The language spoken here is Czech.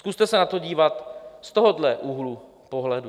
Zkuste se na to dívat z tohoto úhlu pohledu.